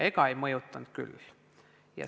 Ega see ei mõjutanud küll.